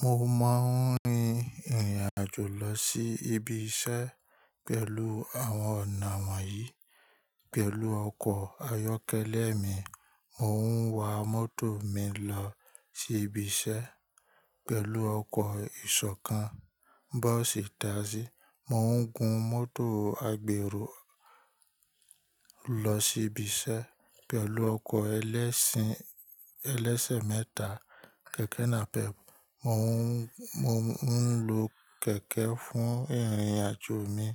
Mo máa ń rin ìrìn àjò lọ sí ibi iṣẹ́ pẹ̀lú àwọn ọ̀nà wọ̀nyí: pẹ̀lú ọkọ̀ ayọ́kẹ́lẹ́ mi, mo ń wa mọ́tò mi lọ sí ibi iṣẹ́, pẹ̀lú ọkọ̀ ìṣọ̀kan, bọ́ọ̀sì táasì, mo ń gun mọ́tò agbèrò lọ sí ibi iṣẹ́, pẹ̀lú ọkọ̀ ẹlẹ́sìn ẹlẹ́sẹ̀ mẹ́ta, kẹ̀kẹ́ nàpẹ́, mo ń lo kẹ̀kẹ́ fún ìrìn àjò mi,